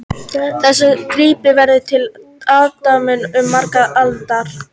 Þessi gripur verður til aðdáunar um margar aldir